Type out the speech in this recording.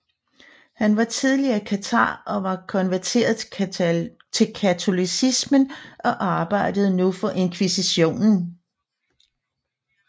Han var tidligere kathar og var konverteret til katolicismen og arbejdede nu for inkvisitionen